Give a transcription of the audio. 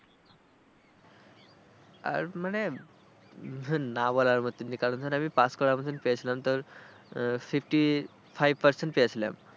আর মানে না বলার মত। যে কারণে আমি ধরো পাস করার মত পেয়েছিলাম তো fifty five percent পেয়েছিলাম।